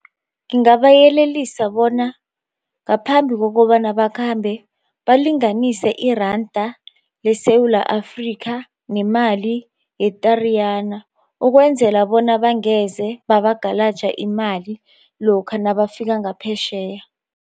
Ngingabayelelisa bona ngaphambi kokobana bakhambe balinganise iranda leSewula Afrika nemali ye-Tariyana ukwenzela bona bangeze babagalaja imali lokha nabafika ngaphetjheya.